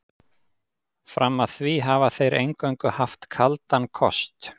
Fram að því hafa þeir eingöngu haft kaldan kost.